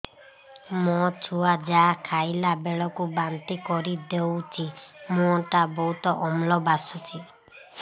ମୋ ଛୁଆ ଯାହା ଖାଇଲା ବେଳକୁ ବାନ୍ତି କରିଦଉଛି ମୁହଁ ଟା ବହୁତ ଅମ୍ଳ ବାସୁଛି